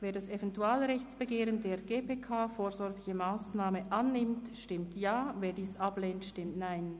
Wer das Eventualrechtsbegehren der GPK «vorsorgliche Massnahme» annimmt, stimmt Ja, wer dies ablehnt, stimmt Nein.